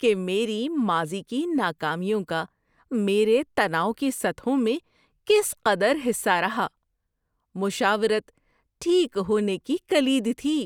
کہ میری ماضی کی ناکامیوں کا میرے تناؤ کی سطحوں میں کس قدر حصہ رہا۔ مشاورت ٹھیک ہونے کی کلید تھی۔